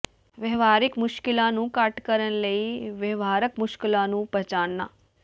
ਵਿਵਹਾਰਿਕ ਮੁਸ਼ਕਲਾਂ ਨੂੰ ਘੱਟ ਕਰਨ ਲਈ ਵਿਵਹਾਰਕ ਮੁਸ਼ਕਲਾਂ ਨੂੰ ਪਛਾਣਨਾ